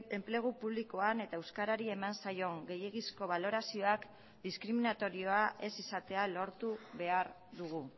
enplegu publikoan eta euskarari eman zaion gehiegizko balorazioak diskriminatorioa ez izatea lortu behar dugu